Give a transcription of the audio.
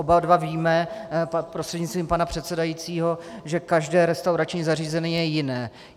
Oba dva víme prostřednictvím pana předsedajícího, že každé restaurační zařízení je jiné.